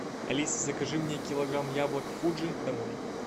алиса закажи мне килограмм яблок фуджи домой